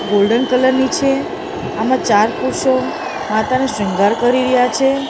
Golden colour ની છે આમાં ચાર પુરુષો માતાનો શ્રૃંગાર કરી રહ્યા છે.